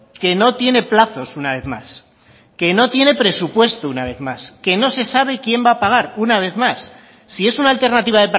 que no tiene plazos una vez más que no tiene presupuesto una vez más que no se sabe quién va a pagar una vez más si es una alternativa